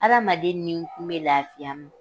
Adamaden ninkun bɛ lafiya m